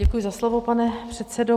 Děkuji za slovo, pane předsedo.